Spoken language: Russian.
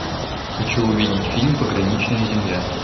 хочу увидеть фильм пограничная земля